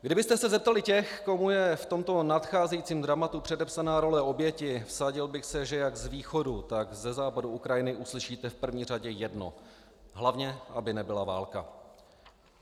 Kdybyste se zeptali těch, komu je v tomto nadcházejícím dramatu předepsána role oběti, vsadil bych se, že jak z východu, tak ze západu Ukrajiny uslyšíte v první řadě jedno: Hlavně aby nebyla válka!